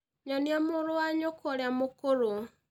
Nyonia mũrũ wa nyũkwa ũria mũkũrũ.